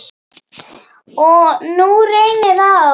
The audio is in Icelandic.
Og nú reynir á.